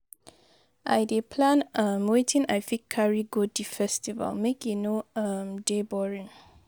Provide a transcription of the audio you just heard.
I dey plan um wetin I fit carry carry go di festival make e no um dey boring.